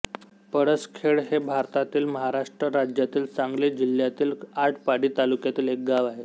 पळसखेळ हे भारतातील महाराष्ट्र राज्यातील सांगली जिल्ह्यातील आटपाडी तालुक्यातील एक गाव आहे